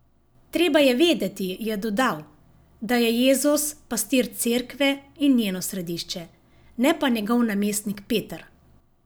Treba je vedeti, je dodal, da je Jezus pastir Cerkve in njeno središče, ne pa njegov namestnik Peter.